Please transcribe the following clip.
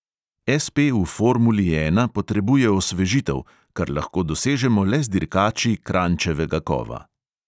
SP v formuli ena potrebuje osvežitev, kar lahko dosežemo le z dirkači kranjčevega kova.